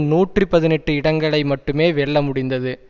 நூற்றி பதினெட்டு இடங்களை மட்டுமே வெல்ல முடிந்தது